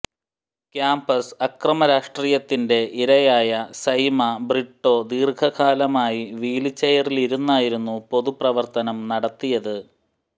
campus അക്രമരാഷ്ട്രീയത്തിന്റെ ഇരയായ സൈമ ബ്രിട്ടോ ദീര്ഘകാലമായി വീല് ചെയറിലിരുന്നായിരുന്നു പൊതുപ്രവര്ത്തനം നടത്തിയത്